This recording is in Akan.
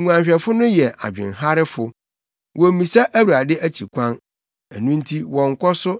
Nguanhwɛfo no yɛ adwenharefo wommisa Awurade akyi kwan; ɛno nti wɔnkɔ so